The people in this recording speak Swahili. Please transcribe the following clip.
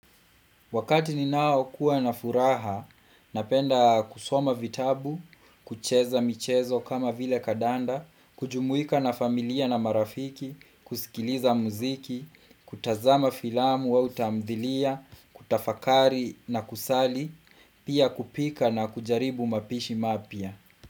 Wakati ninao kuwa na furaha, napenda kusoma vitabu, kucheza michezo kama vile kadanda, kujumuika na familia na marafiki, kusikiliza muziki, kutazama filamu au tamthilia, kutafakari na kusali, pia kupika na kujaribu mapishi mapya.